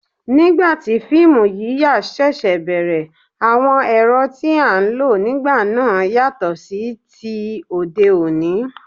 Nígbà tí fíìmù yíyà ṣẹ̀ṣẹ̀ bẹ̀rẹ̀, àwọn ẹ̀rọ tí a ń lò nígbà náà ti yàtọ̀ sí ti òde òní